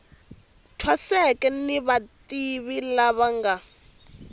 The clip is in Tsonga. thwaseke ni vativi lava nga